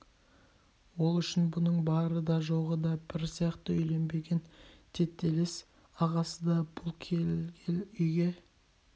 ол үшін бұның бары да жоғы да бір сияқты үйленбеген тетелес ағасы да бұл келгел үйге